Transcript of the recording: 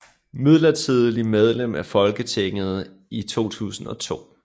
Midlertidigt medlem af Folketinget i 2002